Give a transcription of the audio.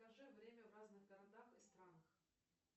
скажи время в разных городах и странах